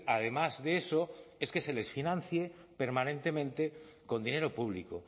además de eso es que se les financie permanentemente con dinero público